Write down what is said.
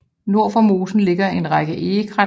Nord for mosen ligger en række egekrat